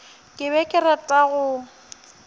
ke be ke rata go